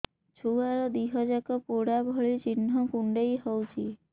ଛୁଆର ଦିହ ଯାକ ପୋଡା ଭଳି ଚି଼ହ୍ନ କୁଣ୍ଡେଇ ହଉଛି